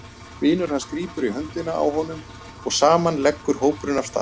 Vinur hans grípur í höndina á honum og saman leggur hópurinn af stað heim.